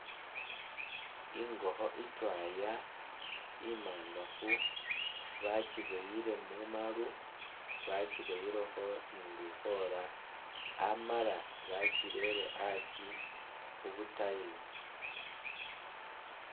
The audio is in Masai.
Ingokho itwaya imangafu bakibwoyile mumaru bakibwoyilekho ni lukhola amala bakireye asi khubu tiles